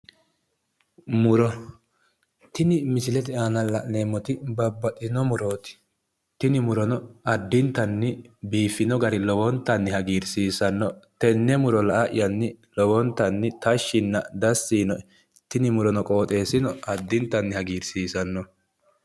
Muro. Tini misilete aana la'neemmoti babbaxxitino murooti. tini murono addintanni biiffino gari lowontanni hagiirsiisinoe tenne muro la''yanni tashshi dassi yiinoe. Tini muro noo qooxeessino addintanni hagiirsiisanno.